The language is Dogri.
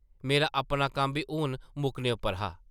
मेरा अपना कम्म बी हून मुक्कने उप्पर हा ।